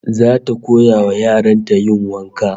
Zata koya wa yaran ta yin wanka